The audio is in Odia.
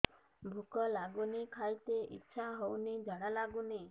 ଭୁକ ଲାଗୁନି ଖାଇତେ ଇଛା ହଉନି ଝାଡ଼ା ଲାଗୁନି